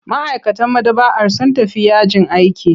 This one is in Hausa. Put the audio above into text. Ma'aikatan maɗaba'ar sun tafi yajin aiki.